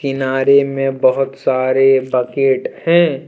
किनारे में बहुत सारे बकेट हैं।